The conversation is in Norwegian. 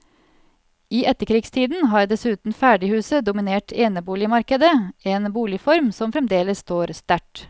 I etterkrigstiden har dessuten ferdighuset dominert eneboligmarkedet, en boligform som fremdeles står sterkt.